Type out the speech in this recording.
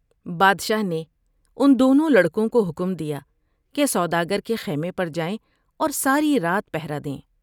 بادشاہ نے ان دونوں لڑکوں کو حکم دیا کہ سوداگر کے خیمے پر جائیں اور ساری رات پہرہ دیں ۔